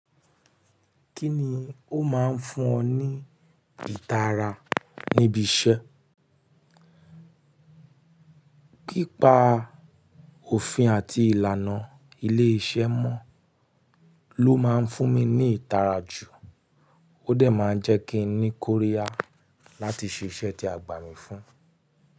Kíni ó máa ń fún ọ ní ìtara níbi iṣẹ́? Pípa òfin àti ìlànà ilé-iṣẹ́ mọ́ ló máa ń fún mi ní ìtara jù. Ó dẹ̀ máa ń jẹ́ kí n ní kó rí yà láti ṣe iṣẹ́ tí a gbà mí fún.